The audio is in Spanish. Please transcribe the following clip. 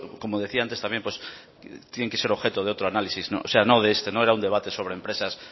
como decía antes también pues tienen que ser objeto de otro análisis no de este no era un debate sobre empresas